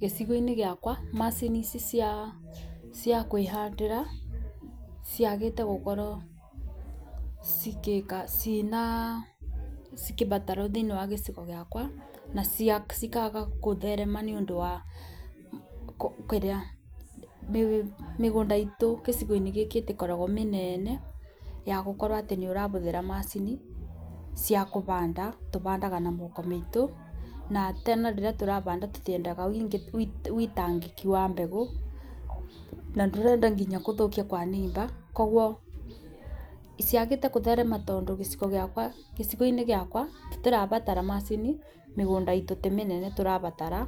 Gĩcigo-inĩ gĩakwa macini ici cia kwĩhandĩra ciagĩte gukorwo cigĩbatarwo thĩinĩ wa gĩco gĩakwa na cikaga gũthrrema nĩ ũndũ wa mĩgũnda itũ gicigo-inĩ gĩkĩ ndĩkoragwo mĩnene yagũkorwo atĩ nĩ ũrabũthĩra macini cia kũbanda tũbandaga na moko maitũ. Na tena rĩrĩ tũrabanda tũtiendaga witangĩki wa mbegũ na ndũrenda nginya kũthũkia kwa neighbour. koguo ciagĩte kũtherema gĩcigo-inĩ gĩakwa tũtirabatara macini mĩgũnda itũ ti mĩnene tũrabatara